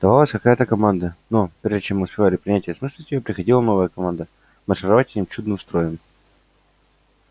давалась какая-то команда но прежде чем мы успевали принять и осмыслить её приходила новая команда маршировать этим чудным строем